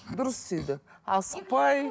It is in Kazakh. дұрыс асықпай